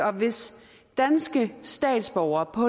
og hvis danske statsborgere på